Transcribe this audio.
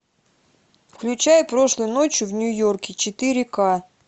включай прошлой ночью в нью йорке четыре ка